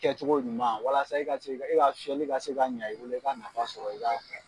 kɛcogo ɲuman walasa e ka se e ka fiyɛli ka se k'a ɲɛ i bolo i ka nafa sɔrɔ i ka .